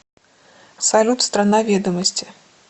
салют страна ведомости